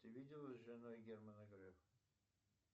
ты виделась с женой германа грефа